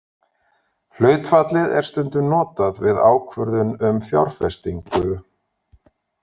Hlutfallið er stundum notað við ákvörðun um fjárfestingu.